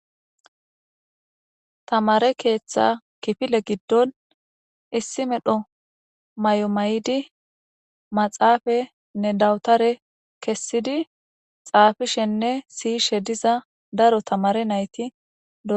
Tamare keeththa kifile giddon issi medho mayo may7di maxaafenne dawutare kessidi xaafishenne siyishe diza daro tamare nayti.